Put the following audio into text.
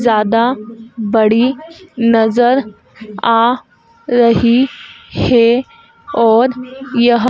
ज्यादा बड़ी नजर आ रही हे और यह--